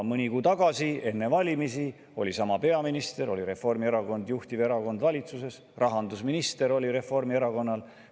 Mõni kuu tagasi, enne valimisi oli sama peaminister, juhtiv erakond valitsuses oli Reformierakond, rahandusminister oli Reformierakonnast.